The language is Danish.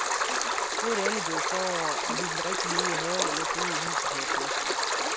Nu er det endelig blevet forår, og vi ville rigtig nyde haven og lufte ud i huset her i påsken.